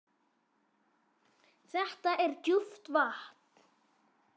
Þetta er djúpt vatn.